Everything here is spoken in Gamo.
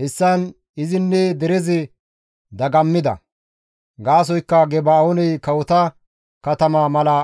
Hessan izinne derezi dagammida; gaasoykka Geba7ooney kawota katama mala